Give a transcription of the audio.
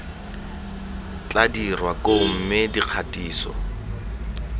tla dirwa koo mme dikgatiso